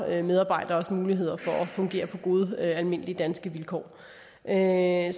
medarbejderes muligheder for at fungere på gode almindelige danske vilkår så jeg